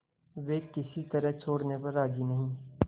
वे किसी तरह छोड़ने पर राजी नहीं